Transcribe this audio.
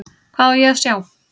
Hvað á ég að sjá?